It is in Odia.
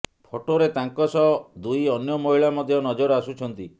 ଫଟୋରେ ତାଙ୍କ ସହ ଦୁଇ ଅନ୍ୟ ମହିଳା ମଧ୍ୟ ନଜର ଆସୁଛନ୍ତି